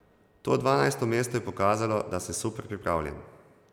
To dvanajsto mesto je pokazalo, da sem super pripravljen.